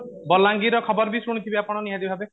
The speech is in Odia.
ବଲାଙ୍ଗିର ର ଖବର ବି ଶୁଣିଥିବେ ଆପଣ ନିହାତି ଭାବେ